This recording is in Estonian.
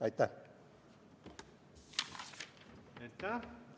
Aitäh!